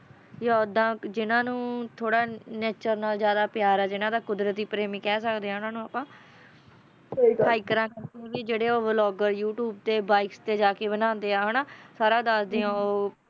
Vienna ਵਿਚ ਇਨ੍ਹਾਂ ਨੂੰ ਥੋੜਾ ਜਿਹਾ ਟਾਲਾ ਜਾਣਾ ਪਿਆ ਰਿਹਾ ਹੈ ਕੁਦਰਤ ਦੀ ਪ੍ਰੇਮਿਕਾ ਦਾ ਗਲਾ ਨਾ ਘੋਟਿਓ